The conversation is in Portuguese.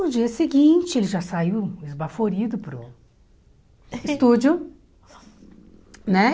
No dia seguinte, ele já saiu esbaforido para o estúdio, né?